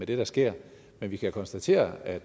det der sker men vi kan konstatere at